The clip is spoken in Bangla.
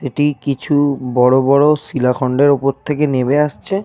এটি কিছু বড় বড় শিলাখণ্ডের উপর থেকে নেমে আসছে।